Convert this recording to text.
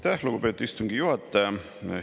Aitäh, lugupeetud istungi juhataja!